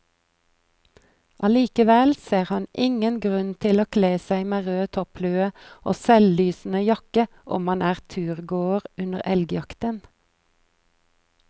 Allikevel ser han ingen grunn til å kle seg med rød topplue og selvlysende jakke om man er turgåer under elgjakten.